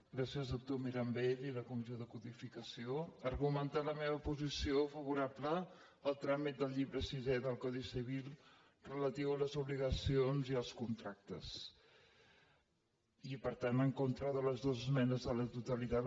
gràcies doctor mirambell i la comissió de codificació argumentar la meva posició favorable al tràmit del llibre sisè del codi civil relatiu a les obligacions i els contractes i per tant en contra de les esmenes a la totalitat